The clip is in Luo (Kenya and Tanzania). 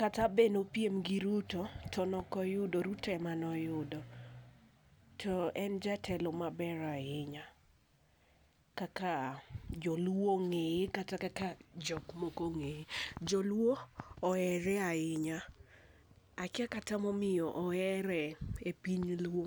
Kata bed ni ne opiem gi Ruto ti ne ok oyudo Ruto emane oyudo. To en jatelo ma ber ainya kaka joluo ong'eye kata kata kaka jok moko ong'eye. Joluo ohere ainya, akia kata ma omiyo ohere e piny luo.